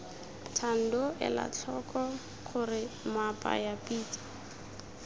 thando elatlhoko gore moapaya pitsa